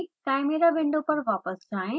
chimera window पर वापस जाएँ